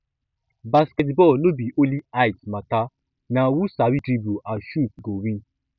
basketball no be only height matter na who sabi dribble and shoot go win